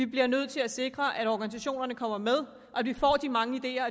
bliver nødt til at sikre at organisationerne kommer med at vi får de mange ideer